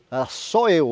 Era só eu.